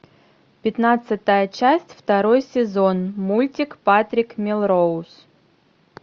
пятнадцатая часть второй сезон мультик патрик мелроуз